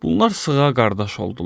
Bunlar sığa qardaş oldular.